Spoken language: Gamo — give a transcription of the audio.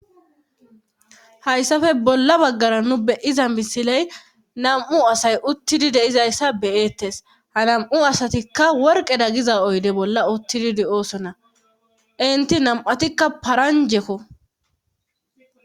Hayssafe bolla baggara nu beyiza misiley nam'u asay uttidi deizayssa beyeettes ha nam'u asatikka worqeda giza oyde bolla uttididi oosonna inti nam'atikka paranjekko